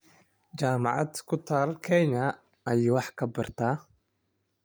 Jaamacad ku taal Kenya ayuu wax ka bartaa